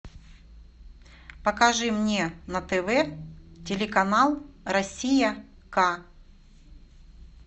покажи мне на тв телеканал россия к